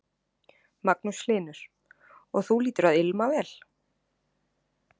Magnús Hlynur: Og þú hlýtur að ilma vel?